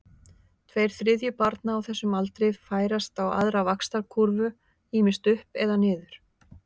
Tveir þriðju barna á þessum aldri færast á aðra vaxtarkúrfu, ýmist upp eða niður.